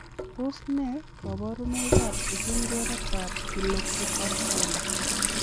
Tos nee koborunoikab ipungweretab kilopitab konda?